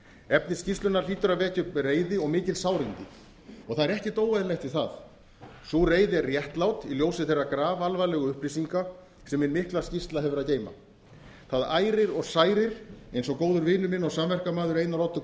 efni skýrslunnar hlýtur að vekja upp reiði og mikil sárindi og það er ekkert óeðlilegt við það sú reiði er réttlát í ljósi þeirra grafalvarlegu upplýsinga sem hin mikla skýrsla hefur að geyma það ærir og særir eins og góður vinur minn og samverkamaður einar oddur